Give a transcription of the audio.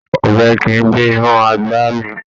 Ọbẹ̀ kìí gbé inú àgbà mì.